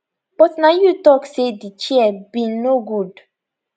but na you tok say di chair bin no good